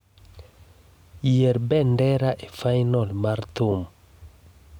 yier bendera e fainol mar thum